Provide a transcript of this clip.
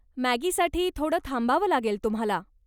मॅगीसाठी थोडं थांबावं लागेल तुम्हाला.